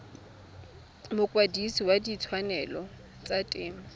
mokwadise wa ditshwanelo tsa temo